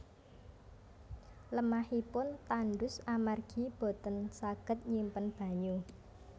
Lemahipun tandus amargi boten saged nyimpen banyu